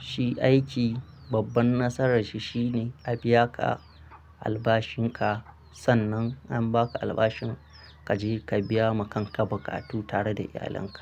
Shi aiki babban nasarar shi shi ne a biya ka albashin ka sannan in ba ka albashin ka je ka biya ma kan ka buƙatu tare da iyalinka.